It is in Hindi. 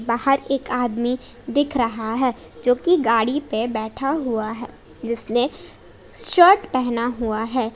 बाहर एक आदमी दिख रहा है जो कि गाड़ी पे बैठा हुआ है जिसने शर्ट पहना हुआ है।